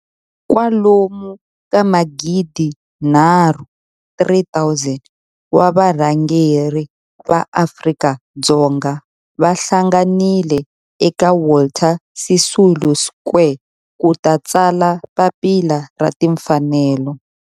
Kwalomu ka magidinharhu, 3 000, wa varhangeri va maAfrika-Dzonga va hlanganile eka Walter Sisulu Square ku ta tsala Papila ra Tinfanelo.